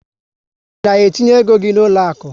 I na etinye égo gị n'uloaku?